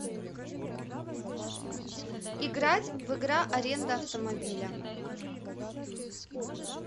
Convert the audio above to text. играть в игра аренда автомобиля